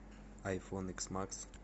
айфон икс макс